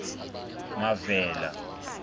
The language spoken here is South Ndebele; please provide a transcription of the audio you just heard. mavela